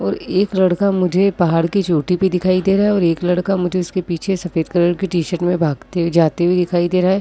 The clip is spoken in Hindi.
और एक लड़का मुझे पहाड़ की चोटी पे दिखाई दे रहा है और एक लड़का मुझे उसके पीछे सफ़ेद कलर की टीशर्ट में भागते जाते हुए दिखाई दे रहा है।